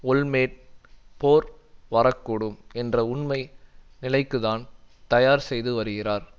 Olmert போர் வரக்கூடும் என்ற உண்மை நிலைக்குத்தான் தயார் செய்து வருகிறார்